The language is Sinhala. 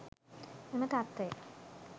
මෙම තත්ත්වය